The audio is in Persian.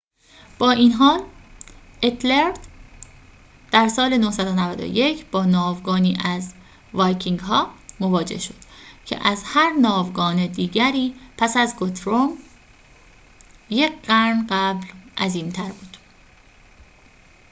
با این حال اتِلرِد در سال ۹۹۱ با ناوگانی از وایکینگ‌ها مواجه شد که از هر ناوگان دیگری پس از گوترومِ یک قرن قبل عظیم‌تر بود